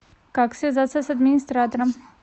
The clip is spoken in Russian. как связаться с администратором